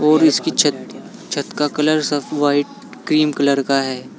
और इसकी छत छत का कलर सब व्हाइट क्रीम कलर का है।